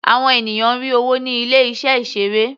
Àwọn ènìyàn rí owó ní ilé iṣẹ́ ìseré.